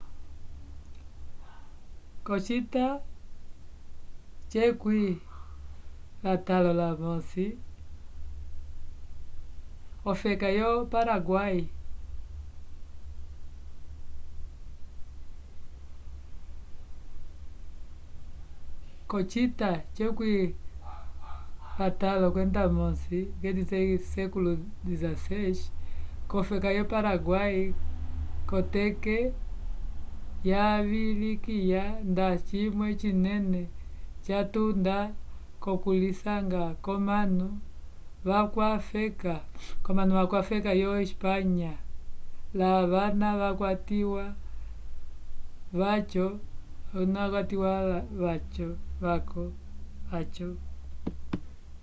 k'ocita xvi ofeka yo paraguai kotete vayivilikya nda cimwe cinene catunda k'okulisanga kwomanu vakwafeka yo espanya la vana vakwatiwa vyaco